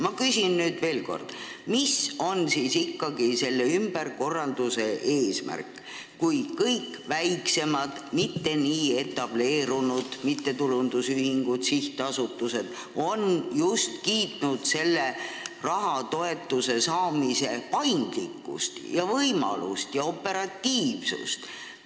Ma küsin nüüd veel kord: mis on siis ikkagi selle ümberkorralduse eesmärk, kui kõik väiksemad, mitte nii etableerunud mittetulundusühingud ja sihtasutused on just kiitnud toetuste saamise paindlikkust ja operatiivsust?